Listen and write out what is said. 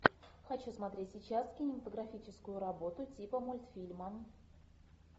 хочу смотреть сейчас кинематографическую работу типа мультфильма